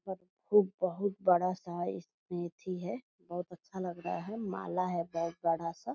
खूब बहुत बड़ा सा इसमें एथी है बहुत अच्छा लग रहा है माला है बहुत बड़ा सा।